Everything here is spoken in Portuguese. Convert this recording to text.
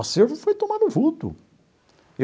O acervo foi tomando vulto.